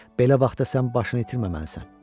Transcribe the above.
Belə vaxtda sən başını itirməməlisən.